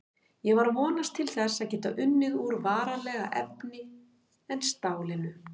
Ég var að vonast til þess að geta unnið úr varanlegra efni en stálinu.